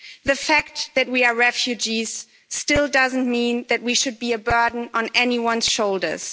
The fact that we are refugees still doesn't mean that we should be a burden on anyone's shoulders.